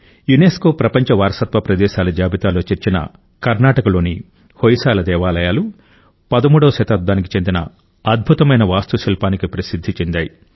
UNESCO ప్రపంచ వారసత్వ ప్రదేశాల జాబితాలో చేర్చిన కర్నాటకలోని హొయసాల దేవాలయాలు 13వ శతాబ్దానికి చెందిన అద్భుతమైన వాస్తుశిల్పానికి ప్రసిద్ధి చెందాయి